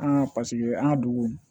An ka paseke an ka dugu